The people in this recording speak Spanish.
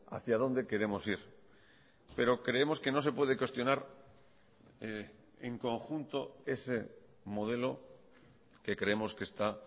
hacia dónde queremos ir pero creemos que no se puede cuestionar en conjunto ese modelo que creemos que está